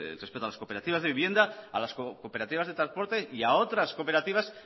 respecto a las cooperativas de vivienda a las cooperativas de transporte y a otras cooperativas